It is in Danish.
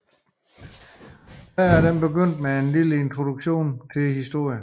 Hver af dem begyndte med en lille introduktion til historien